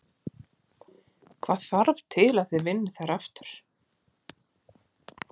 Hvað þarf til að þið vinnið þær aftur?